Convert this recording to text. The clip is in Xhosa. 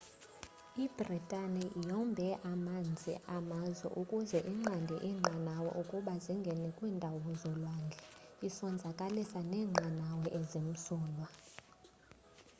ibritani yombe amanzi amazwe ukuze inqande iinqanawe ukuba zingene kwiindawo zolwandle isonzakalisa neenqanawa ezimsulwa